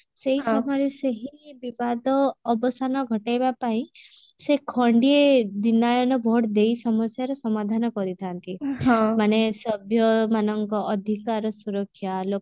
ସେଇ ସମୟରେ ସେହି ବିବାଦ ଅବସନ ଘଟେଇବା ପାଇଁ ସେ ଖଣ୍ଡିଏ ଦିନାୟନ vote ଦେଇ ସମସ୍ୟାର ସମାଧାନ କରିଥାନ୍ତି ମାନେ ସଭ୍ୟ ମାନଙ୍କ ଅଧିକାର ସୁରକ୍ଷା